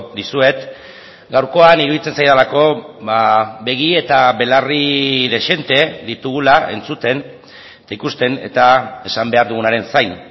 dizuet gaurkoan iruditzen zaidalako begi eta belarri dezente ditugula entzuten eta ikusten eta esan behar dugunaren zain